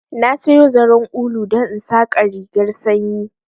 Na sayo zaren ulu don in saƙa rigarr sanyi